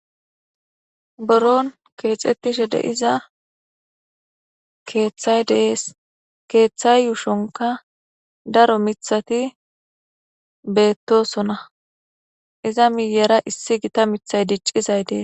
Buron keexetishe de'iza keeththay de'es. Keeththa yuushonkka daro miththati bettoosona iza miyyera iisi gita miththay diccizay dees.